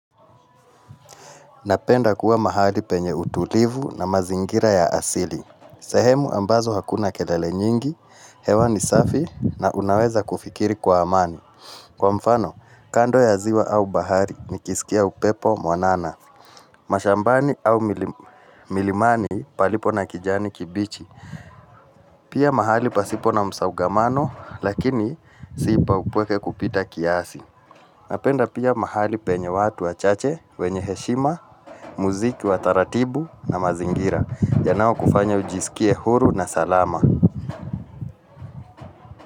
Napenda kuwa mahali penye utulivu na mazingira ya asili. Sehemu ambazo hakuna kelele nyingi, hewa ni safi na unaweza kufikiri kwa amani. Kwa mfano, kando ya ziwa au bahari nikisikia upepo mwanana. Mashambani au milimani palipo na kijani kibichi. Pia mahali pasipo na msongamano, lakini si pa upweke kupita kiasi. Napenda pia mahali penye watu wachache, wenye heshima, muziki wa taratibu na mazingira. Yanaokufanya ujisikie huru na salama.